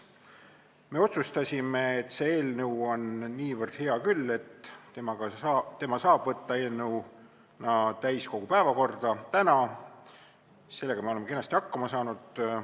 Me otsustasime, et see eelnõu on niivõrd hea küll, et saab ta võtta täiskogu päevakorda täna, ja sellega me oleme kenasti hakkama saanud.